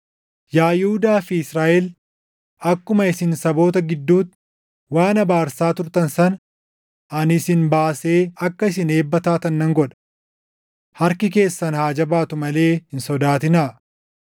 Yaa Yihuudaa fi Israaʼel akkuma isin saboota gidduutti waan abaarsaa turtan sana, ani isin baasee akka isin eebba taatan nan godha. Harki keessan haa jabaatuu malee hin sodaatinaa.”